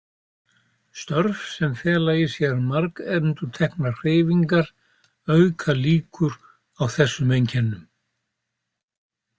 Störf sem fela í sér margendurteknar hreyfingar auka líkur á þessum einkennum.